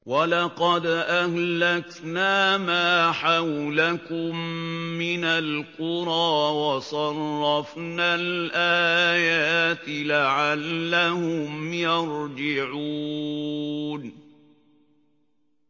وَلَقَدْ أَهْلَكْنَا مَا حَوْلَكُم مِّنَ الْقُرَىٰ وَصَرَّفْنَا الْآيَاتِ لَعَلَّهُمْ يَرْجِعُونَ